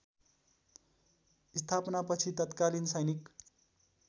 स्थापनापछि तत्कालीन सैनिक